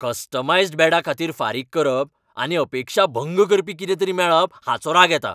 Customised बेडा खातीर फारीक करप आनी अपेक्षाभंग करपी कितेंतरी मेळप हाचो राग येता.